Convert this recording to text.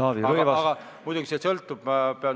Ma pean muidugi